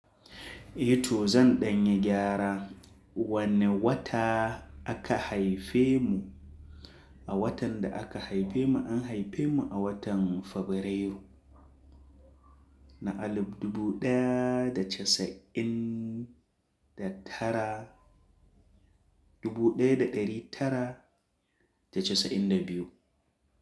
Eh to zan ɗanyi gyara. Wane wata aka haife mu? A watan da aka haife mu an haife mu a watan Fabrairu na alif dubu ɗaya da casa'in da tara dubu ɗaya da ɗari tara da casa'in da biyu.